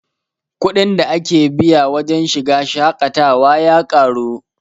kuɗin da ake biya wajen shiga shaƙatawa ya ƙaru